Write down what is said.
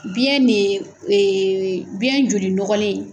biyɛn de biyɛn joli nɔgɔlen